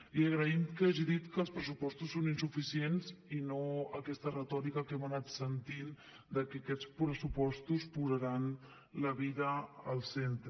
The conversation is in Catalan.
li agraïm que hagi dit que els pressupostos són insuficients i no aquesta retòrica que hem anat sentint de que aquests pressupostos posaran la vida al centre